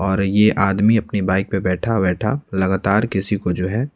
और ये आदमी अपनी बाइक पे बैठा-बैठा लगातार किसी को जो है--